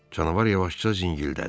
Canavar yavaşca zingildədi.